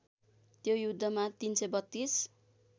त्यो युद्धमा ३३२